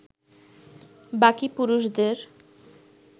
বাকি পুরুষদের